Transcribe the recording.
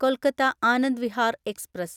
Kolkata Anand Vihar express